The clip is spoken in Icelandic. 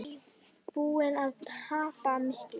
Guðný: Búinn að tapa miklu?